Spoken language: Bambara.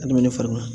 Adamaden farima